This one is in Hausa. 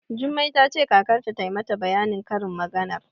Jummai ta ce kakarta ta mata bayanin karin maganar.